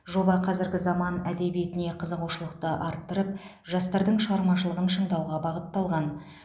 жоба қазіргі заман әдебиетіне қызығушылықты арттырып жастардың шығармашылығын шыңдауға бағытталған